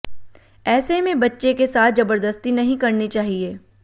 ऐसे में बच्चे के साथ जबरदस्ती नहीं करनी चाहिए